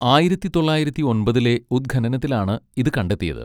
ആയിരത്തി തൊള്ളായിരത്തി ഒൻപതിലെ ഉദ്ഖനനത്തിലാണ് ഇത് കണ്ടെത്തിയത്.